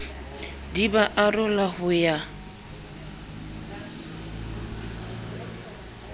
di ba arola ho ya